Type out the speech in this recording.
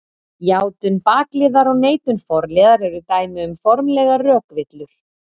Játun bakliðar og neitun forliðar eru dæmi um formlegar rökvillur.